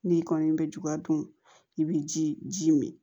N'i kɔni bɛ juguya dun i bɛ ji ji min